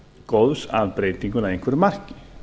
góðs af breytingunni að einhverju marki